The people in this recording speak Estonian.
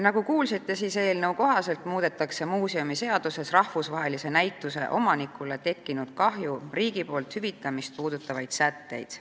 Nagu kuulsite, muudetakse eelnõu kohaselt muuseumiseaduses rahvusvahelise näituse omanikule tekkinud kahju riigi poolt hüvitamist puudutavaid sätteid.